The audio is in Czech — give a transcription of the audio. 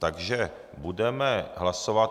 Takže budeme hlasovat.